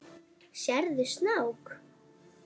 Fundið þrá þína hér.